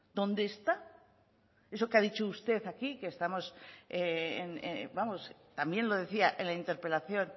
dónde está eso que ha dicho usted aquí que estamos vamos también lo decía en la interpelación